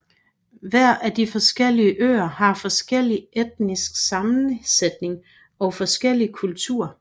Hver af de forskellige øer har forskellig etnisk sammensætning og forskellig kultur